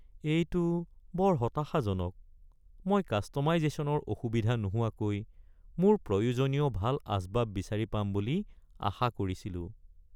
এইটো বৰ হতাশাজনক, মই কাষ্ট’মাইজেশ্যনৰ অসুবিধা নোহোৱাকৈ মোৰ প্ৰয়োজনীয় ভাল আচবাব বিচাৰি পাম বুলি আশা কৰিছিলোঁ।